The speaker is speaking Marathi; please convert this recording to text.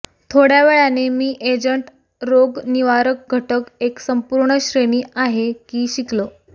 थोड्या वेळाने मी एजंट रोगनिवारक घटक एक संपूर्ण श्रेणी आहे की शिकलो